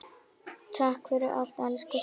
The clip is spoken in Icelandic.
Takk fyrir allt, elsku Svenni.